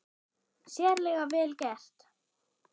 Sérlega vel gert.